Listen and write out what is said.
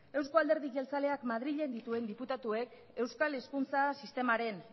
euskal alderdi jertzalea madrilen dituen diputatuek euskal hezkuntza sistemaren